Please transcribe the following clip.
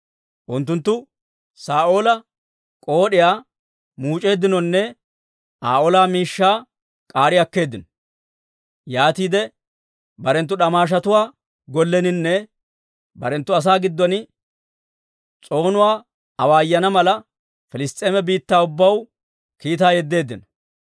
Unttunttu Saa'oola k'ood'iyaa muuc'eeddinonne Aa ola miishshaa k'aari akkeeddino. Yaatiide barenttu d'amaashatuwaa golleninne barenttu asaa giddon s'oonuwaa awaayana mala, Piliss's'eema biittaa ubbaw kiitaa yeddeeddino.